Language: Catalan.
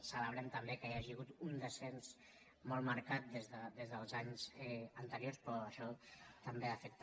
celebrem també que hi hagi hagut un descens molt marcat des dels anys anteriors però això també afecta